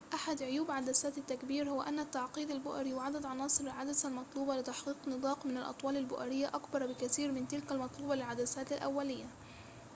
أحد عيوب عدسات التكبير هو أن التعقيد البؤري وعدد عناصر العدسة المطلوبة لتحقيق نطاق من الأطوال البؤرية أكبر بكثير من تلك المطلوبة للعدسات الأولية